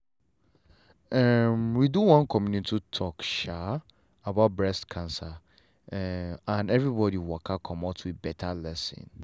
um we do one community talk um about breast cancer um and everybody waka commot with better lesson.